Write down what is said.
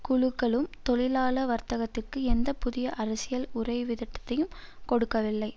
குழுக்களும் தொழிலாள வர்த்தகத்திற்கு எந்த புதிய அரசியல் உறைவிதட்டத்தையும் கொடுக்கவில்லை